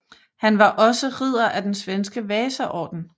Han var også ridder af den svenske Vasaorden